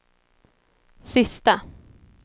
sista